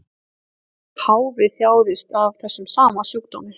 Páfi þjáðist af þessum sama sjúkdómi